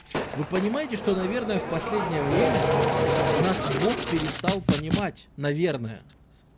вы понимаете что наверное в последнее время нас бог перестал понимать наверное